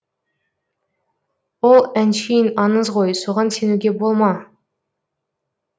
ол әншейін аңыз ғой соған сенуге болма